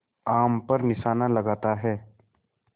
आम पर निशाना लगाता है